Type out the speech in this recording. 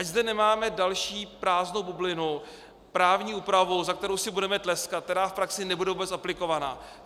Ať zde nemáme další prázdnou bublinu, právní úpravu, za kterou si budeme tleskat, která v praxi nebude vůbec aplikovaná.